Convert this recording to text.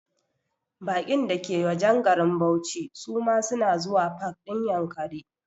Baƙin da ke wajen garin bauchi su ma suna zuwa pak ɗin Yankari